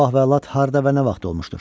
Bu vəlad harda və nə vaxt olmuşdur?